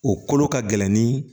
O kolo ka gɛlɛn ni